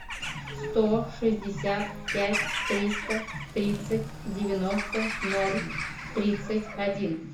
сто шестьдесят пять триста тридцать девяносто ноль тридцать один